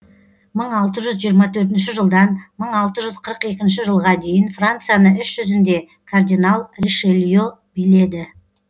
мың алты жүз жиырма төртінші жылдан мың алты жүз қырық екінші жылға дейін францияны іс жүзінде кардинал ришелье биледі